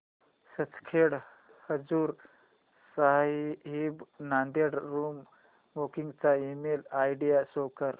Sachkhand Hazur Sahib Nanded room booking चा email ID show कर